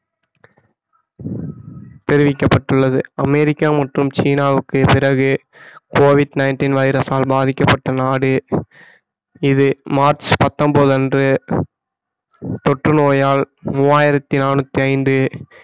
தெரிவிக்கப்பட்டுள்ளது அமெரிக்கா மற்றும் சீனாவுக்கு பிறகு COVID-19 வைரஸால் பாதிக்கப்பட்ட நாடு இது மார்ச் பத்தொன்பது அன்று தொற்று நோயால் மூவாயிரத்தி நானூத்தி ஐந்து